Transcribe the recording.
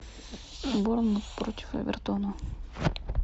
борнмут против эвертона